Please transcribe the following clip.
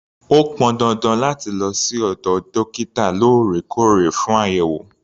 O pọn dandan láti lọ sí ọ̀dọ̀ dókítà lóòrèkóòrè fún àyẹ̀wò.